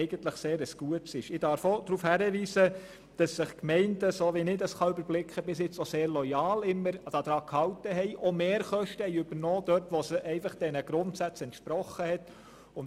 Ich darf auch darauf hinweisen, dass sich die Gemeinden bis jetzt, soweit ich das überblicken kann, sehr loyal daran gehalten und auch Mehrkosten übernommen haben, wenn es diesen Grundsätzen entsprochen hat.